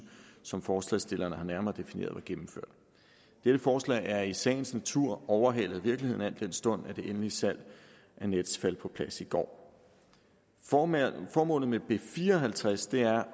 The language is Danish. som forslagsstillerne har nærmere defineret var gennemført dette forslag er i sagens natur overhalet af virkeligheden al den stund at det endelige salg af nets faldt på plads i går formålet formålet med b fire og halvtreds er